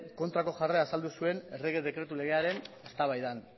kontrako jarrera azaldu zuen errege dekretu legearen eztabaidan